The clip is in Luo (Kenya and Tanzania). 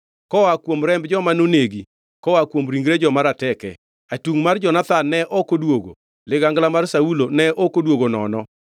Koa kuom remb joma nonegi, koa kuom ringre joma rateke, atungʼ mar Jonathan ne ok odwogo, ligangla mar Saulo ne ok odwogo nono.